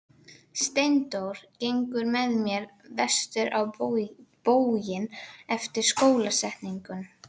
Steindór gengur með mér vestur á bóginn eftir skólasetningu.